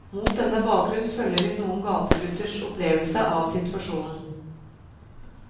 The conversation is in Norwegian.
Mot denne bakgrunnen følger vi noen gategutters opplevelse av situasjonen.